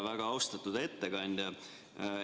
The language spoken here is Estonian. Väga austatud ettekandja!